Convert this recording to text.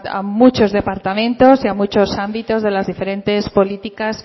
a muchos departamentos y a muchos ámbitos de las diferentes políticas